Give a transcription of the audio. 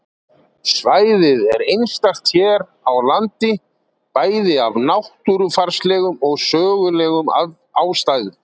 Svæðið er einstakt hér á landi, bæði af náttúrufarslegum og sögulegum ástæðum.